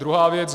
Druhá věc.